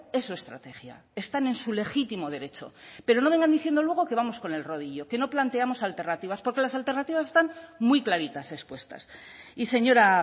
es su estrategia están en su legítimo derecho pero no vengan diciendo luego que vamos con el rodillo que no planteamos alternativas porque las alternativas están muy claritas expuestas y señora